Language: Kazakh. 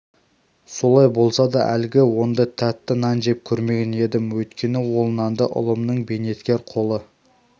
солай болса да әлгі ондай тәтті нан жеп көрмеген едім өйткені ол нанды ұлымның бейнеткер қолы